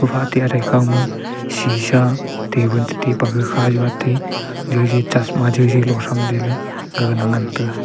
fatih athe ekhama shisa tabul chetai pe khajua ate joi chosma joi lohsam le gaga te ngan tega.